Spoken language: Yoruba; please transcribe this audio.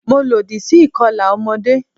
Mo lòdì sí ìkọlà ọmọdé.